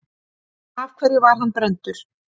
Af hverju var hann brenndur?